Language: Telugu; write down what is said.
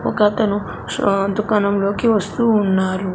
ఒకతను అహ్ దుకాణంలోకి వస్తూ ఉన్నారు.